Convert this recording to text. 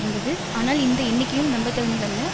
இருந்தது ஆனால் இந்த எண்ணிக்கையும் நம்பத்தகுந்தத் அல்ல